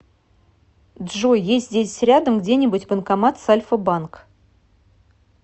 джой есть здесь рядом где нибудь банкомат с альфа банк